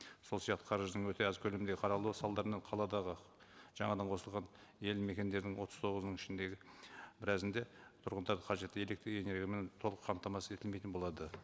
сол сияқты қаржының өте аз көлемінде қаралуы салдарынан қаладағы жаңадан қосылған елді мекендердің отыз тоғызының ішіндегі біразында тұрғындары қажетті электрэнергиямен толық қамтамасыз етілмейтін болады